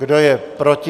Kdo je proti?